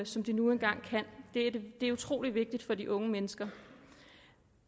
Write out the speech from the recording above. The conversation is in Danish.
som de nu engang kan det er utrolig vigtigt for de unge mennesker